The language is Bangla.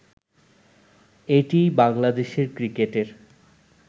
এটিই বাংলাদেশের ক্রিকেটের